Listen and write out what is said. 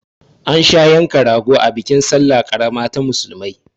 An sha yanka rago a bikin salla ƙarama ta musulmai